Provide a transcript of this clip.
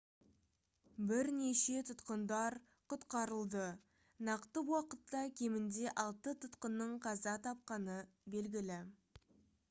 бірнеше тұтқындар құтқарылды нақты уақытта кемінде алты тұтқынның қаза тапқаны белгілі